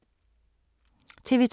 TV 2